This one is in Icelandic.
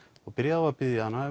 og byrjaði á að biðja hana